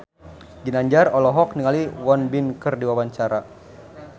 Ginanjar olohok ningali Won Bin keur diwawancara